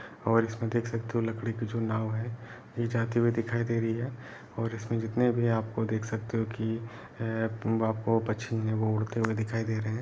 और इसमें देख सकते हो लकड़ी की जो नाव है ये जाती हुई दिखाई दे रही है और इसमें जितने भी आपको देख सकते हो कि हे आपको पक्षी हैं वो उड़ते हुई दिखाई दे रहे हैं।